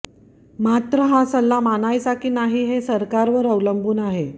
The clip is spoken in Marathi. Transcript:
मात्र हा सल्ला मानायचा की नाही हे सरकारवर अवलंबून आहे